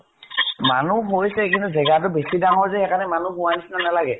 মানুহ হৈছে । কিন্তু জেগা তো বেছি ডাঙৰ যে, সেইকাৰণে মানুহ হোৱা নিচিনা নালাগে ।